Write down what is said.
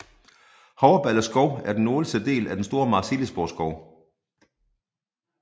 Havreballe Skov er den nordligste del af den store Marselisborgskov